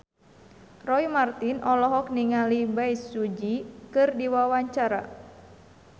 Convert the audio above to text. Roy Marten olohok ningali Bae Su Ji keur diwawancara